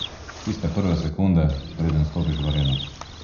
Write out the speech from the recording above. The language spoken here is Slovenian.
Tiste prve sekunde, preden stopiš v areno.